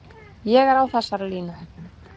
Ég er á þessari línu.